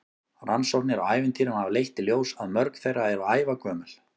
Rannsóknir á ævintýrum hafa leitt í ljós að mörg þeirra eru ævagömul.